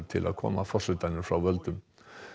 til að koma forsetanum frá völdum